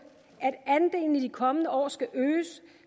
at andelen i de kommende år skal øges